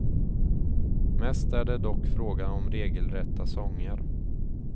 Mest är det dock fråga om regelrätta sånger.